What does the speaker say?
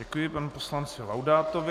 Děkuji panu poslanci Laudátovi.